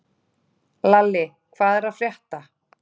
Lalli, hvað er að frétta?